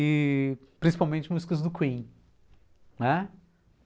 E principalmente músicas do Queen, né?